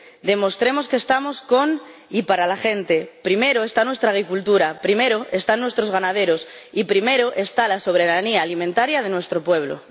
Demostremos que estamos con y para la gente. Primero está nuestra agricultura, primero están nuestros ganaderos y primero está la soberanía alimentaria de nuestro pueblo.